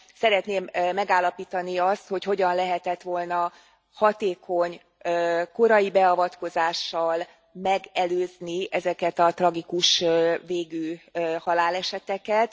Szeretném megállapítani azt, hogy hogyan lehetett volna hatékony korai beavatkozással megelőzni ezeket a tragikus végű haláleseteket.